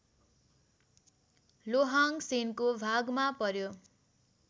लोहाङ्गसेनको भागमा पर्‍यो